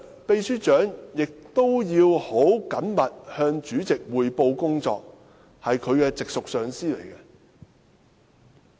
秘書長日常要很緊密地向主席匯報工作，主席是其直屬上司。